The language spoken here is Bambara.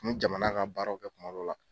U bɛ jamana ka baaraw kɛ kuma dɔ la.